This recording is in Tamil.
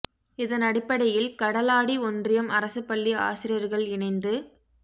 இதனடிப்படையில் கடலாடி ஒன்றியம் அரசு பள்ளி ஆசிரியர்கள் இணைந்து ரூ